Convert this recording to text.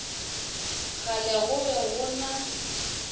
kgale go be go na